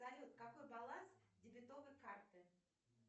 салют какой баланс дебетовой карты